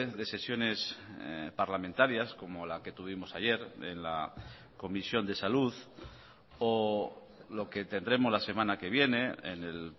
de sesiones parlamentarias como la que tuvimos ayer en la comisión de salud o lo que tendremos la semana que viene en el